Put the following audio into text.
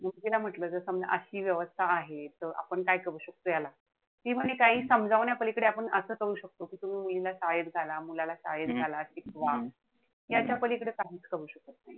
म्हंटल जर समजा अशी व्यवस्था आहे. त आपण काय करू शकतो. ती म्हणे काई समजावण्यापलीकडे आपण असं करू शकतो. कि तुम्ही मुलींना शाळेत घाला, मुलाला शाळेत घाला. शिकवा. यांच्यापलीकडे काहीच करू शकत नाही.